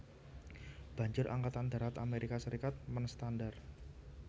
Banjur Angkatan Darat Amerika Serikat menstandar